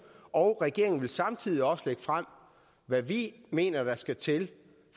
og regeringen vil samtidig også lægge frem hvad vi mener der skal til